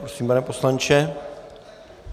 Prosím, pane poslanče.